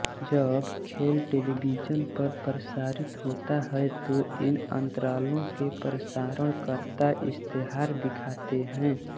जब खेल टेलिविज़न पर प्रसारित होता है तो इन अंतरालों में प्रसारणकर्ता इश्तेहार दिखाते हैं